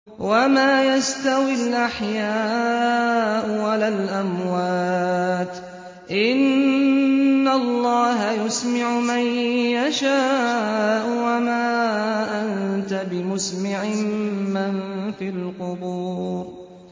وَمَا يَسْتَوِي الْأَحْيَاءُ وَلَا الْأَمْوَاتُ ۚ إِنَّ اللَّهَ يُسْمِعُ مَن يَشَاءُ ۖ وَمَا أَنتَ بِمُسْمِعٍ مَّن فِي الْقُبُورِ